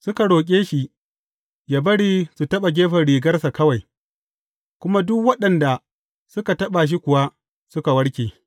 Suka roƙe shi yă bari su taɓa gefen rigarsa kawai, kuma duk waɗanda suka taɓa shi kuwa, suka warke.